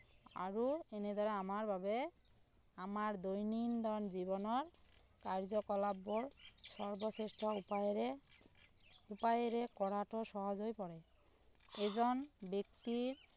আৰু এনেদৰে আমাৰ বাবে আমাৰ দৈনন্দিন জীৱনৰ কাৰ্য্য কলাপ বোৰ সৰ্বশ্ৰেষ্ঠ উপায়েৰে উপায়েৰে পৰাটো সহজ হৈ পৰে এজন ব্যক্তিৰ